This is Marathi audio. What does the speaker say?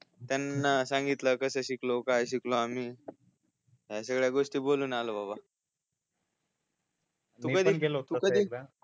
त्यांना सांगितल कसे शिकलो काय शिकलो आम्ही या सगळ्या गोष्टी बोलून आलो बाबा पण तू कधी